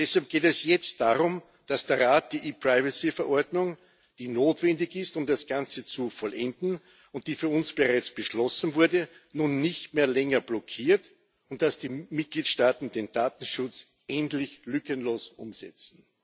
Deshalb geht es jetzt darum, dass der Rat die ePrivacy-Verordnung, die notwendig ist, um das Ganze zu vollenden, und die für uns bereits beschlossen wurde, nun nicht mehr länger blockiert und dass die Mitgliedstaaten den Datenschutz endlich lückenlos umsetzen.